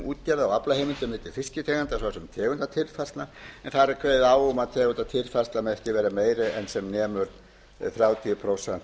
útgerða á aflaheimildum milli fisktegunda svo sem tegundatilfærslna en þar er kveðið á um að tegundatilfærslan megi ekki vera meiri en sem nemur þrjátíu prósent